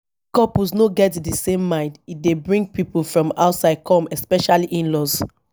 if couple no get di same mind e dey bring pipo from outside come especially inlaws